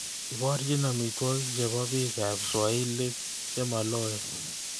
Iborchi amitwogik chebo bikaap swailik chemaloen